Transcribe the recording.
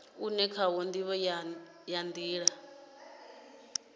une khawo ndivho ya nila